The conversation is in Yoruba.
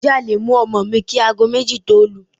Ǹjẹ́ a le mú ọmọ mi kí aago méjì tó lù?